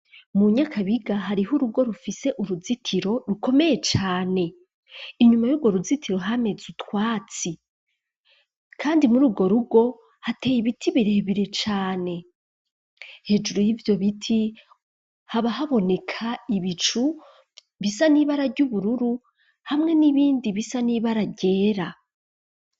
Mu nyakabiga hariho urugo rufise uruzitiro rukomeye cane, inyuma y'urwo ruzitiro hameze utwatsi, kandi muri urwo rugo hateye ibiti birebire cane, hejuru y'ibyo biti haba haboneka ibicu bisa n'ibarary'ubururu, hamwe n'ibindi bisa n'ibara ryera.